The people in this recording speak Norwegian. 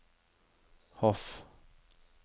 Hof